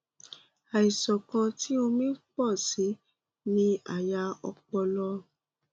àìsàn kan tí omi ń pò sí i ní àyà ọpọlọ